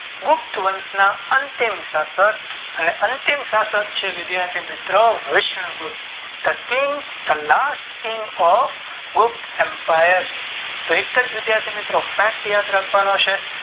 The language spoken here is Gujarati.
ગુપ્ત વંશ ના ત્યા અનુશાસન અને અંતિમ શાસક છે ગુપ્ત અપાયર તો એક જ વિષાથી મિત્રો Fact યાદ રાખવાના છે